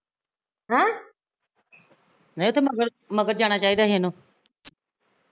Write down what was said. ਨਹੀਂ ਉਹ ਤੇ ਮਗਰ ਜਾਣਾ ਚਾਹੀਦਾ ਸੀ ਇਹਨੁ